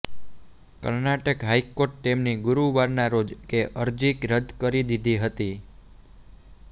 કર્ણાટક હાઇકોર્ટે તેમની ગુરુવારના રોજ કે અરજી રદ કરી દીધી હતી